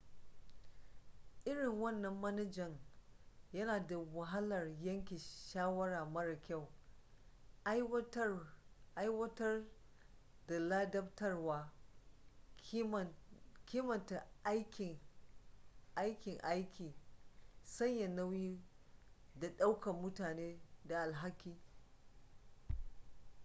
irin wannan manajan yana da wahalar yanke shawara mara kyau aiwatar da ladabtarwa kimanta aikin aiki sanya nauyi da ɗaukar mutane da alhaki